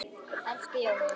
Elsku Jóna.